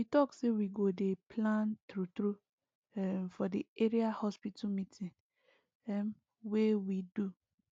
we talk say we go dey plan true true um for the area hospital meeting um wey we do